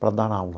para dar aula.